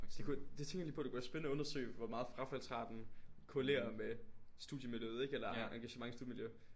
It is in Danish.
Det kunne det tænkte jeg lige på det kunne være spændende at undersøge hvor meget frafaldsraten korrelerer med studiemiljøet ikke eller engagement studiemiljø